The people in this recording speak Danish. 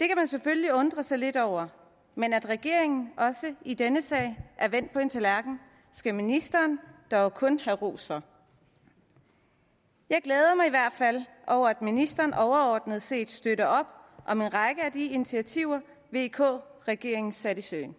det kan man selvfølgelig undre sig lidt over men at regeringen også i denne sag har vendt på en tallerken skal ministeren dog kun have ros for jeg glæder mig i hvert fald over at ministeren overordnet set støtter op om en række af de initiativer vk regeringen satte i søen